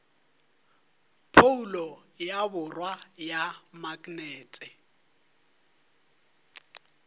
phoulo ya borwa ya maknete